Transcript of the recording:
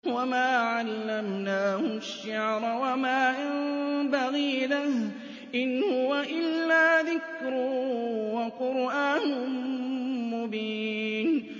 وَمَا عَلَّمْنَاهُ الشِّعْرَ وَمَا يَنبَغِي لَهُ ۚ إِنْ هُوَ إِلَّا ذِكْرٌ وَقُرْآنٌ مُّبِينٌ